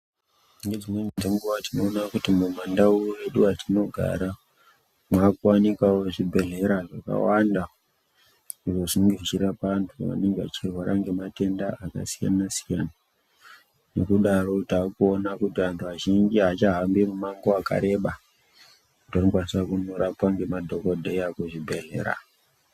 Ngedzimweni dzenguwa tinoona kuti mumandau mwedu mwatinogara mwakuwanikwawo zvibhedhlera zvakawanda zvinosimudzira vantu vanenge vechirwara ngematenda akasiyana siyana ngekudaro takuona kuti vanthu vazhinji avachahambi mumango wakareba kuti vandokwanisa kurapiwa ngemadhokodhera kuzvibhedhleya.